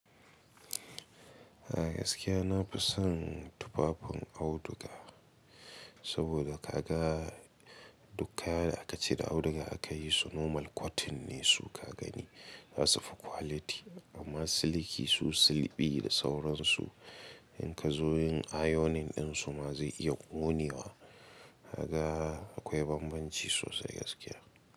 A gaskiya na fi son tufafin auduga, saboda ka ga duk kayan da aka ce da auduga aka yi su normal cotton ne su ka gani. Zasufi quality amma siliki su silbi da sauransu. In ka zo yin ayonin ɗinsu ma zai iya konewa. Kaga akwai bambanci sosai gaskiya.